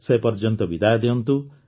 ସେପର୍ଯ୍ୟନ୍ତ ବିଦାୟ ଦିଅନ୍ତୁ